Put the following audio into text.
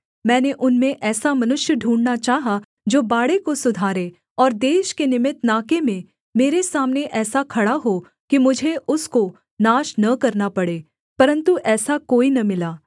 मैंने उनमें ऐसा मनुष्य ढूँढ़ना चाहा जो बाड़े को सुधारें और देश के निमित्त नाके में मेरे सामने ऐसा खड़ा हो कि मुझे उसको नाश न करना पड़े परन्तु ऐसा कोई न मिला